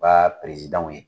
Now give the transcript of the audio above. U ka ye.